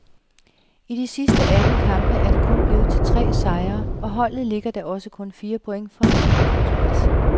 I de sidste atten kampe er det kun blevet til tre sejre, og holdet ligger da også kun fire point fra en nedrykningsplads.